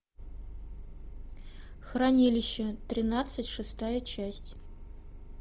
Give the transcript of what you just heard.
хранилище тринадцать шестая часть